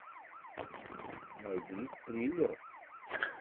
найди триллер